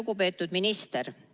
Lugupeetud minister!